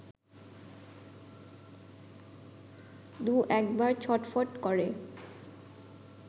দু-একবার ছটফট করে